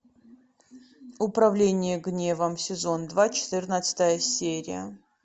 управление гневом сезон два четырнадцатая серия